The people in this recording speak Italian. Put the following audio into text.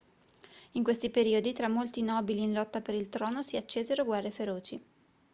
in questi periodi tra molti nobili in lotta per il trono si accesero guerre feroci